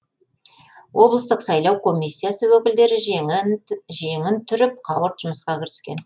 облыстық сайлау комиссиясы өкілдері жеңін түріп қауырт жұмысқа кіріскен